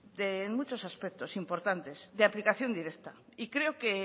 en muchos aspectos importantes de aplicación directa y creo que